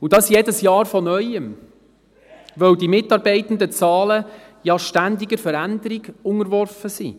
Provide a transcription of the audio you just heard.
Und dies jedes Jahr von Neuem, weil die Mitarbeitendenzahlen ja ständig einer Veränderung unterworfen sind.